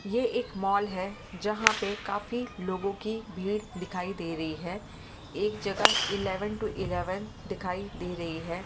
ये एक मॉल है जहां पे काफी लोगों की भीड़ दिखाई दे रही है एक जगह एलेवेन टू एलेवेन दिखाई दे रही है।